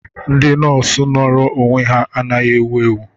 Ndị nọọsụ nọọrọ onwe ha anaghị ewu ewu.